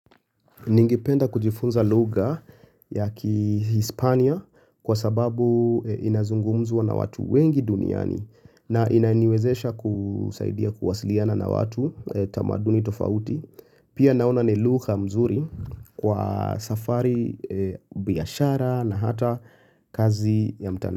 Ningipenda kujifunza lugha ya kiHispania kwa sababu inazungumzwa na watu wengi duniani na inaniwezesha kusaidia kuwasiliana na watu tamaduni tofauti. Pia naona ni lugha mzuri kwa safari biashara na hata kazi ya mtandao.